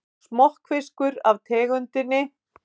Smokkfiskur af tegundinni